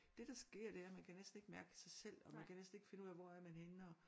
Det der sker det er man kan næsten ikke mærke sig selv og man kan næsten ikke finde ud af hvor er man henne og